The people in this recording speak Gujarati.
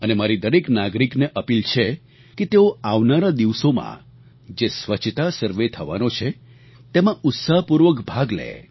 અને મારી દરેક નાગરિક ને અપીલ છે કે તેઓ આવનારા દિવસોમાં જે સ્વચ્છતા સર્વે થવાનો છે તેમાં ઉત્સાહપૂર્વક ભાગ લે